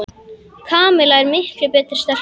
Kamilla er miklu betri stelpa.